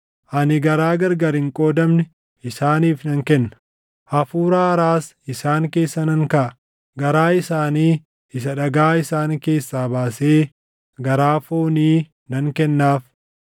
Ani garaa gargar hin qoodamne isaaniif nan kenna; hafuura haaraas isaan keessa nan kaaʼa; garaa isaanii isa dhagaa isaan keessaa baasee garaa foonii nan kennaaf.